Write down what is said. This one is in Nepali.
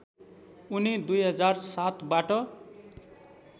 उनी २००७ बाट